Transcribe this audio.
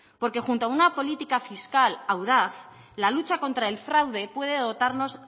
porque junto a una política fiscal audaz la lucha contra el fraude puede dotarnos